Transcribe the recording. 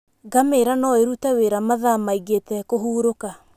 Ngamira no ĩrute wĩra mathaa maingĩ ĩtekũhurũka.